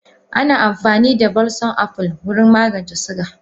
Ana amfani da balsom apple wurin magance suga.